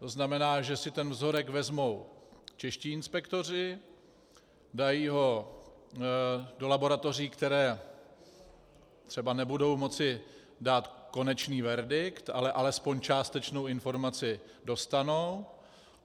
To znamená, že si ten vzorek vezmou čeští inspektoři, dají ho do laboratoří, které třeba nebudou moci dát konečný verdikt, ale alespoň částečnou informaci dostanou.